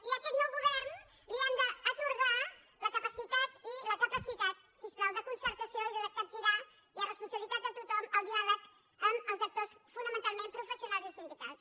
i a aquest nou govern li hem d’atorgar la capacitat i la capacitat si us plau de concertació i de capgirar i és responsabi·litat de tothom el diàleg amb els actors fonamental·ment professionals i sindicals